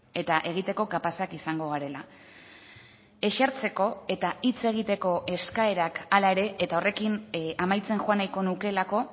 eta egiteko kapazak izango garela esertzeko eta hitz egiteko eskaerak hala ere eta horrekin amaitzen joan nahiko nukeelako